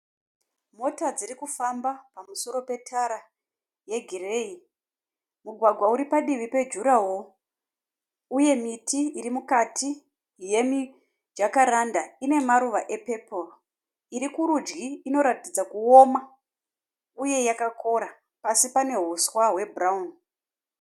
Mota dziri kufamba pamusoro petara yegireyi. Mugwagwa uri padivi pejurawo uye miti iri mukati yemijakaranda ine maruva epeporo iri kuridyi inoratidza kuoma uye yakakora pasi pane huswa hwebhurawuni.